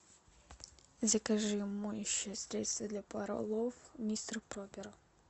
закажи моющее средство для полов мистер пропер